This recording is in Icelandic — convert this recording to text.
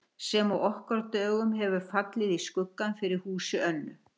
Sem á okkar dögum hefur fallið í skuggann fyrir húsi Önnu